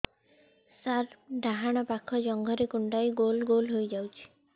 ମୋର ଡାହାଣ ପାଖ ଜଙ୍ଘରେ କୁଣ୍ଡେଇ ଗୋଲ ଗୋଲ ହେଇଯାଉଛି